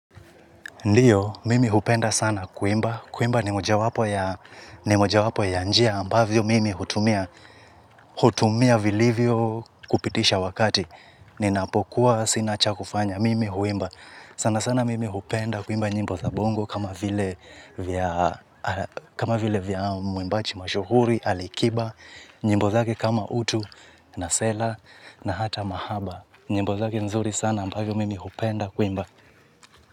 Ndiyo, mimi hupenda sana kuimba, kuimba ni mojawapo ya ni mojawapo ya njia ambavyo mimi hutumia, hutumia vilivyo kupitisha wakati. Ninapokuwa sina cha kufanya, mimi huimba. Sana sana mimi hupenda kuimba nyimbo za bongo kama vile kama vile vya mwimbaji mashuhuri, Alikiba, nyimbo zake kama utu, nasela, na hata mahaba. Nyimbo zake nzuri sana ambavyo mimi hupenda kuimba.